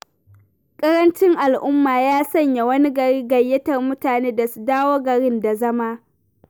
Ƙarancin al'umma ya sanya wani gari gayyatar mutane da su dawo garin da zama.